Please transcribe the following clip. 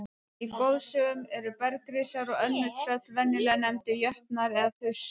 Í goðsögum eru bergrisar og önnur tröll venjulega nefndir jötnar eða þursar.